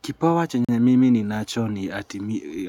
Kipawa chenye mimi ni nacho ni ati